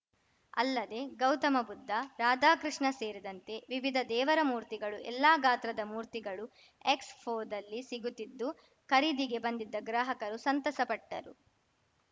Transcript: ಅಲ್ಲದೆ ಗೌತಮ ಬುದ್ಧ ರಾಧಾಕೃಷ್ಣ ಸೇರಿದಂತೆ ವಿವಿಧ ದೇವರ ಮೂರ್ತಿಗಳು ಎಲ್ಲ ಗಾತ್ರದ ಮೂರ್ತಿಗಳು ಎಕ್ಸ್‌ಫೋದಲ್ಲಿ ಸಿಗುತ್ತಿದ್ದು ಖರೀದಿಗೆ ಬಂದಿದ್ದ ಗ್ರಾಹಕರು ಸಂತಸ ಪಟ್ಟರು